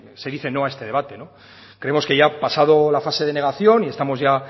se dice no a este debate creemos que ya ha pasado la fase denegación y estamos